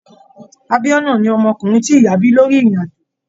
Abiona ni ọmọkùnrin ti ìyá bí lórí irin-ajo.